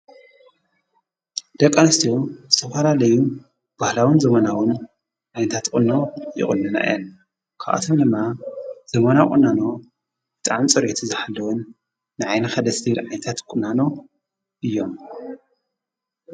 ደቃንስትዮ ዝተፋላለዩ ባህላውን ዘመናዉን ኣይንንታትቕኖ ይቕኑና የን ክኣቶም ነማ ዘመና ቊናኖ ጥም ጽርየቲ ዝኃለዉን ንዓይንኸደስድር ዓይታት ቊናኖ እዮም።